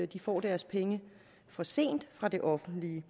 de får deres penge for sent fra det offentlige